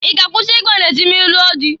I ga-akwusi igba na-ezị ma ị lụọ dị?